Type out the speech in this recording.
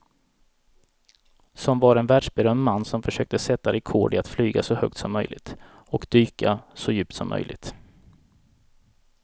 Som var en världsberömd man som försökte sätta rekord i att flyga så högt som möjligt och dyka så djupt som möjligt.